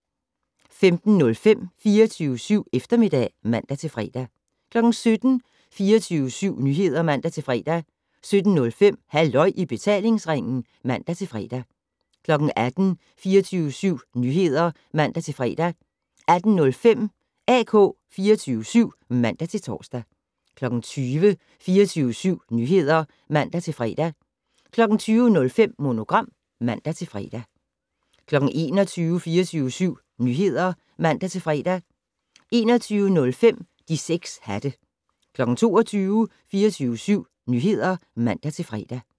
15:05: 24syv Eftermiddag (man-fre) 17:00: 24syv Nyheder (man-fre) 17:05: Halløj i betalingsringen (man-fre) 18:00: 24syv Nyheder (man-fre) 18:05: AK 24syv (man-tor) 20:00: 24syv Nyheder (man-fre) 20:05: Monogram (man-fre) 21:00: 24syv Nyheder (man-fre) 21:05: De 6 hatte 22:00: 24syv Nyheder (man-fre)